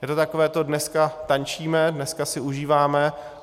Je to takové to: dneska tančíme, dneska si užíváme.